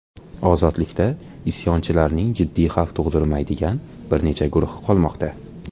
Ozodlikda isyonchilarning jiddiy xavf tug‘dirmaydigan bir necha guruhi qolmoqda.